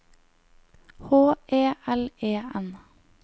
H E L E N